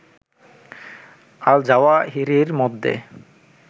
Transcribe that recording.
আল জাওয়াহিরির মধ্যে